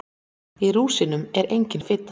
Í rúsínum er engin fita.